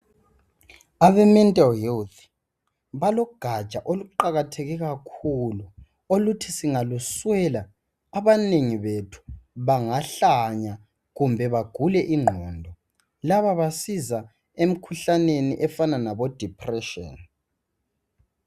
Abemental health balogaja oluqakatheke kakhulu oluthi singaluswela abanengi bethu bangahlanya kumbe bagule ingqondo. Laba basiza emikhuhlaneni efana labodepression.